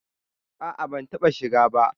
A'a ban taɓa shiga ba.